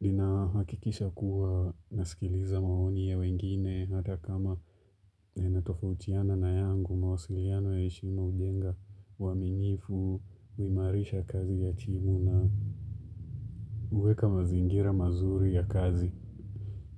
ninahakikisha kuwa nasikiliza maoni ya wengine hata kama yanatofautiana na yangu mawasiliano ya heshima hujenga uaminifu, huimarisha kazi ya timu na huweka mazingira mazuri ya kazi